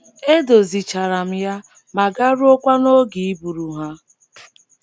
Edozichara m ya ma g̣aruokwa n’oge iburu ha.